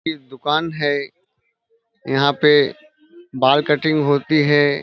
दुकान है। यहाँ पे बाल कटिंग होती है।